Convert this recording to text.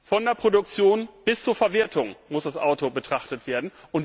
Von der Produktion bis zur Verwertung muss das Auto betrachtet werden.